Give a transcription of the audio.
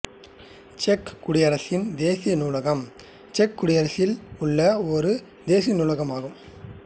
check குடியரசின் தேசிய நூலகம் செக் குடியரசில் உள்ள ஒரு தேசிய நூலகம் ஆகும்